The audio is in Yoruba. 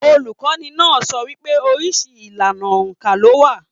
Olukọni náà sọ wípé oríṣi ìlànà óńka lo wà.